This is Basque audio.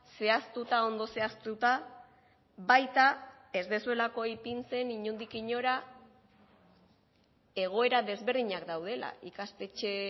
zehaztuta ondo zehaztuta baita ez duzuelako ipintzen inondik inora egoera desberdinak daudela ikastetxe